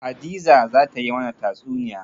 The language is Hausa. Hadiza za ta yi mana tatsuniya.